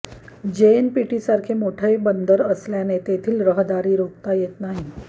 जेएनपीटीसारखे मोठे बंदर असल्याने तेथील रहदारी रोखता येत नाही